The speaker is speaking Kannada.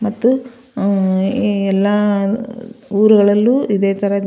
ಮತ್ತು ಅಹ್ ಎಲ್ಲಾ ಉರಗಳಲ್ಲೂ ಇದೆ ತರ.